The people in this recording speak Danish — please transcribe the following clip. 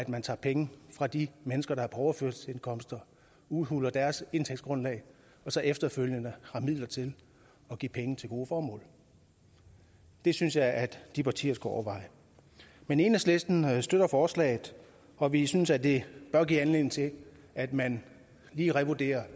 man tager penge fra de mennesker der er på overførselsindkomster og udhuler deres indtægtsgrundlag og så efterfølgende har midler til at give penge til gode formål det synes jeg at de partier skulle overveje men enhedslisten støtter forslaget og vi synes at det bør give anledning til at man lige revurderer